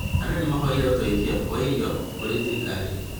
Andũ nĩ mahoire ũteithio wa irio kũrĩ thirikari